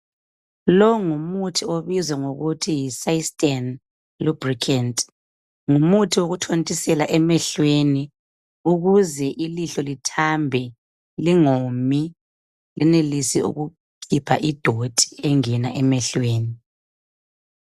Lo ngumuthi obizwa ngokuthi yi systane lubricant. Ngumuthi wokuthontisela emehlweni ukuze ilihlo lithambe, lingomi lenelise ukukhipha idoti engena emehlweni.